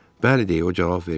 Bəli, deyə o cavab verdi.